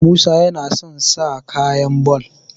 musa yana son sa kaya ball